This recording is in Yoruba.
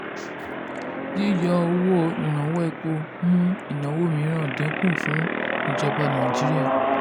yíyọ owó ìrànwọ́ epo mú ìnáwó mìíràn dínkù fún ìjọba nàìjíríà.